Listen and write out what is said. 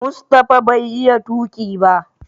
Mustapha bai iya tuki ba.